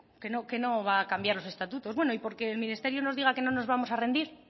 que no va a cambiar los estatutos bueno y porque el ministerio nos diga que no nos vamos a rendir